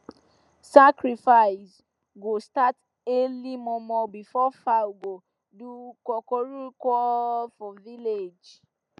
sacrifice go start early momo before fowl go do coocooroocoo for village